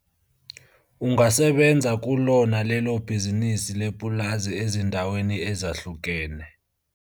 Ungasebenza kulona lelo bhizinisi lepulazi ezindaweni ezahlukene.